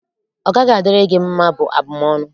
ọ gaghị adịrị gị mma', bụ abụm ọnụ.